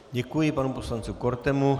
Děkuji panu poslanci Kortemu.